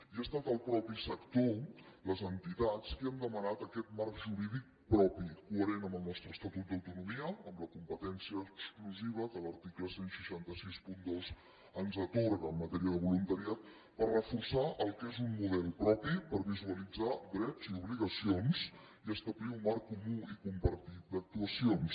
i ha estat el mateix sector les entitats qui han demanat aquest marc jurídic propi coherent amb el nostre estatut d’autonomia amb la competència exclusiva que l’article setze seixanta dos ens atorga en matèria de voluntariat per reforçar el que és un model propi per visualitzar drets i obligacions i establir un marc comú i compartit d’actuacions